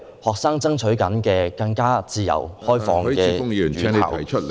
學生爭取的是更自由開放的院校......